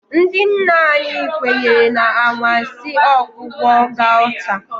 Ndị nna nna anyị kwenyere na anwansi ọgwụgwọ gauta.